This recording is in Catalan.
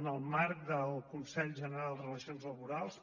en el marc del consell general de relacions laborals